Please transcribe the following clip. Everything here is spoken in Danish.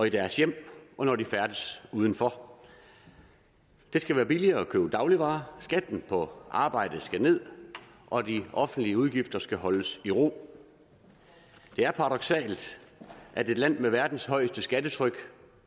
i deres hjem og når de færdes udenfor det skal være billigere at købe dagligvarer skatten på arbejde skal ned og de offentlige udgifter skal holdes i ro det er paradoksalt at et land med verdens højeste skattetryk